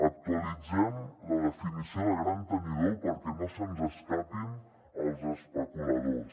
actualitzem la definició de gran tenidor perquè no se’ns escapin els especuladors